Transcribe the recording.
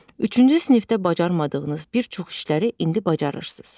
Üçüncü sinifdə bacarmadığınız bir çox işləri indi bacarırsınız.